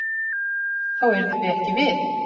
Þá yrðum við ekki við.